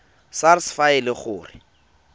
sars fa e le gore